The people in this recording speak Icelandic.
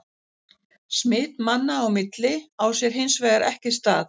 Smit manna á milli á sér hins vegar ekki stað.